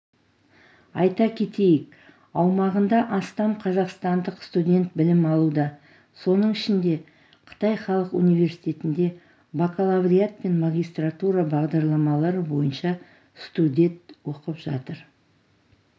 айта кетейік аумағында астам қазақстандық студент білім алуда соның ішінде қытай халық университетінде бакалавриат пен магистратура бағдарламалары бойынша студет оқып жатыр